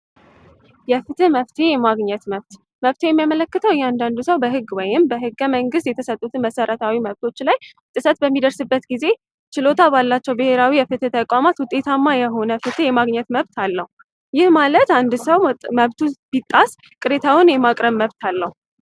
መፍትሔ የማግኘት መብት መፍትሔ የሚያመለክተው እያንዳንዱ ሰው በህግ ወይም በህገመንግስት የተሰጡት መብቶች ላይ ጥሰት በሚደርስበት ጊዜ ችሎታ ባላቸው ብሄራዊ የፍትህ ተቋማት ፍትህ የማግኘት መብት አለው። ይህ ማለት አንድ ሰው መብቱ ቢጣስ ቅሬታውን የማቅረብ መብት አለው።